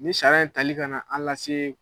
Nin sariya in tali ka na an lase.